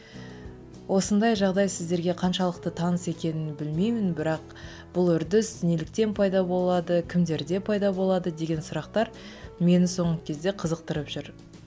осындай жағдай сіздерге қаншалықты таныс екенін білмеймін бірақ бұл үрдіс неліктен пайда болады кімдерде пайда болады деген сұрақтар мені соңғы кезде қызықтырып жүр